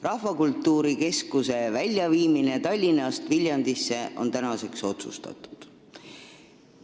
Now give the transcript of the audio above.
Rahvakultuuri Keskuse viimine Tallinnast Viljandisse on tänaseks otsustatud.